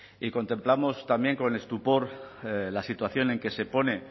y contemplamos también con estupor la situación en que se pone